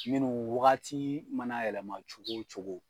minnu wagatii mana yɛlɛma cogo o cogo